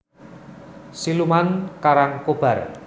Siluman Karangkobar